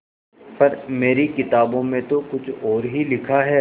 पर मेरी किताबों में तो कुछ और ही लिखा है